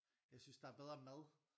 Jeg synes der er bedre mad